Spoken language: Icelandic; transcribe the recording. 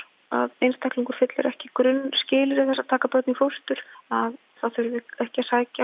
að einstaklingur uppfyllir ekki grunnskilyrði þess að taka börn í fóstur að það þurfi ekki að sækja